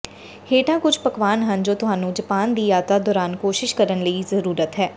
ਹੇਠਾਂ ਕੁਝ ਪਕਵਾਨ ਹਨ ਜੋ ਤੁਹਾਨੂੰ ਜਪਾਨ ਦੀ ਯਾਤਰਾ ਦੌਰਾਨ ਕੋਸ਼ਿਸ਼ ਕਰਨ ਦੀ ਜ਼ਰੂਰਤ ਹਨ